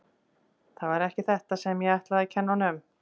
Það var ekki þetta sem ég ætlaði að kenna honum.